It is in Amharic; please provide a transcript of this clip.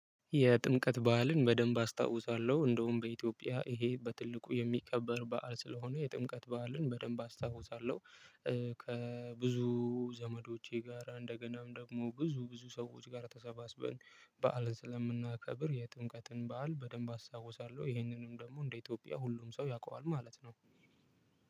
የጥምቀት በዓልን በደንብ አስታውሳለሁ። እንደውም በኢትዮጵያ ይሄ በትልቁ የሚከበር በዓል ስለሆነ የጥምቀት በዓልን በደንብ አስታውሳለሁ። ከብዙ ዘመዶቼ ጋራ እንደገናም ደግሞ ብዙ ብዙ ሰዎች ጋር ተሰባስበን በዓልን ስለምናከብር የጥምቀትን በዓል በደንብ አስታውሳለሁ። ይሄንንም ደግሞ እንደ ኢትዮጵያ ሁሉም ሰው ያውቀዋል ማለት ነው።